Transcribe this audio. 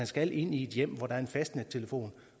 skal ind i et hjem hvor der er en fastnettelefon